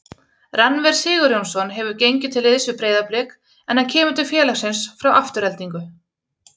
Rannver Sigurjónsson hefur gengið til liðs við Breiðablik en hann kemur til félagsins frá Aftureldingu.